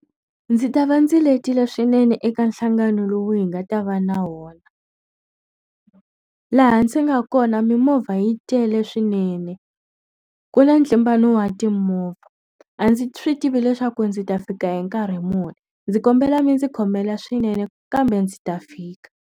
Ndzi ta va ndzi letile swinene eka nhlangano lowu hi nga ta va na wona. Laha ndzi nga kona mimovha yi tele swinene, ku na ntlimbano wa timovha. A ndzi swi tivi leswaku ndzi ta fika hi nkarhi muni, ndzi kombela mi ndzi khomela swinene kambe ndzi ta fika.